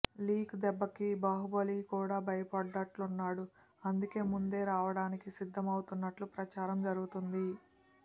leak దెబ్బకి బాహుబలి కూడా భయపడ్డట్టున్నాడు అందుకే ముందే రావడానికి సిద్ధం అవుతున్నట్టు ప్రచారం జరుగుతోంది